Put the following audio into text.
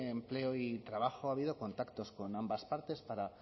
empleo y trabajo ha habido contactos con ambas partes para